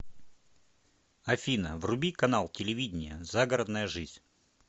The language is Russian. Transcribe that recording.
афина вруби канал телевидения загородная жизнь